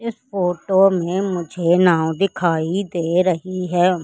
इस फोटो में मुझे नाव दिखाई दे रही है।